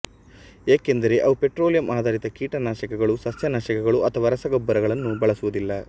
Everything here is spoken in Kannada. ಏಕೆಂದರೆ ಅವು ಪೆಟ್ರೋಲಿಯಂಆಧರಿತ ಕೀಟನಾಶಕಗಳು ಸಸ್ಯನಾಶಕಗಳು ಅಥವಾ ರಸಗೊಬ್ಬರಗಳನ್ನು ಬಳಸುವುದಿಲ್ಲ